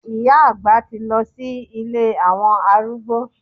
Ìyá àgbà ti lọ sí ilé àwọn arúgbó.